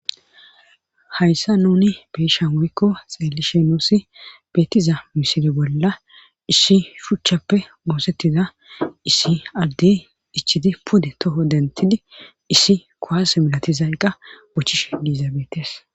Hayssa nuni beisha moykko xeelishe nuussi beettiza misili bolla issi shuchchappe moosettiza issi aldey ichidi pude toho dentidi issi koase milatizayqqa bochish diizaabeetes.